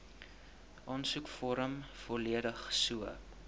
aansoekvorm volledig so